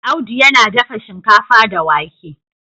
Audu yana dafa shinkafa da wake